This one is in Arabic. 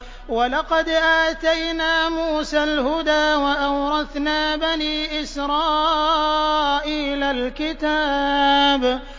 وَلَقَدْ آتَيْنَا مُوسَى الْهُدَىٰ وَأَوْرَثْنَا بَنِي إِسْرَائِيلَ الْكِتَابَ